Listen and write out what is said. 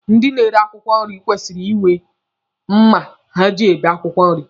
Ndị na-ere akwụkwọ nri kwesịrị inwe mma ha ji ebe akwụkwọ nri.